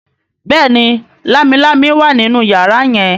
béèni Lámilámi wá nínú yàrá yen.